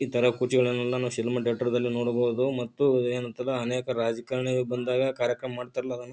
ಇತರ ಕುಚ್ಚಗಳನ್ನು ನಾನು ಸಿನಿಮಾ ಡಾಟರ್ ದಲ್ಲಿ ನೋಡಬಹುದು ಮತ್ತು ಏನ್ ಅಂತಲ್ಲಾ ಅನೇಕ ರಾಜಕಾರಣಿಗಳು ಬಂದಾಗ ಕಾರ್ಯಕ್ರಮ ಮಾಡತ್ತಾರಲ್ಲಾ ಅದನ್ನ.